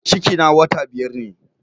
Ciki na wata biyar ne